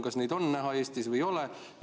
Kas neid on näha Eestis või ei ole?